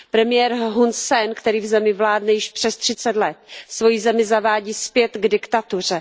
Premiér Hun Sen, který v zemi vládne již přes třicet let, svoji zemi zavádí zpět k diktatuře.